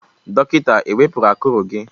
Dọkịta ewepụru akụrụ gị?